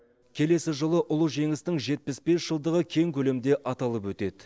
келесі жылы ұлы жеңістің жетпіс бес жылдығы кең көлемде аталып өтеді